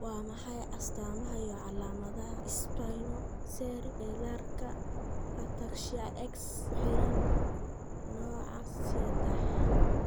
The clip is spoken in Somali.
Waa maxay astamaha iyo calaamadaha Spinocerebellarka ataxia X ku xiran nooca sedex?